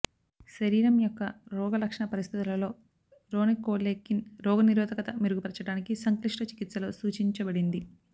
శరీరం యొక్క రోగలక్షణ పరిస్థితులలో రోనికోలేకిన్ రోగనిరోధకత మెరుగుపర్చడానికి సంక్లిష్ట చికిత్సలో సూచించబడింది